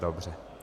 Dobře.